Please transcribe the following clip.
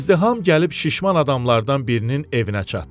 İzdiham gəlib şişman adamlardan birinin evinə çatdı.